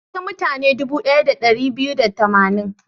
Na ga mutane dubu ɗaya da ɗari biyu da tamanin.